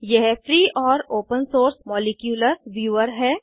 यह फ्री और open source molecular viewer है